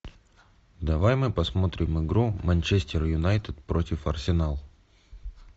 давай мы посмотрим игру манчестер юнайтед против арсенала